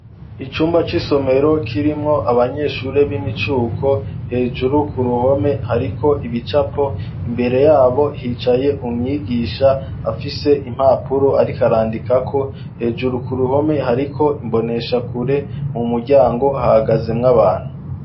Icumba c'isomero kirimwo abanyeshure b'imicuko, hejuru ku ruhome hariko ibicapo, imbere yabo hicaye umwigisha afise impapuro ariko arandikako, hejuru ku ruhome hariko imboneshakure, mu muryango hahagazemwo abantu.